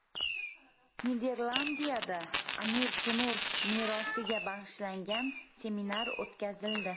Niderlandiyada Amir Temur merosiga bag‘ishlangan seminar o‘tkazildi.